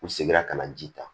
U seginna ka na ji ta